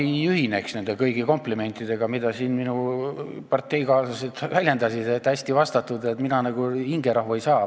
Ma ei ühine kõigi nende komplimentidega, mida siin minu parteikaaslased väljendasid, et hästi vastatud – mina hingerahu ei saanud.